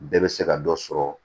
Bɛɛ bɛ se ka dɔ sɔrɔ